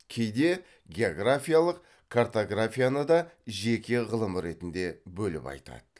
кейде географиялық картографияны да жеке ғылым ретінде бөліп айтады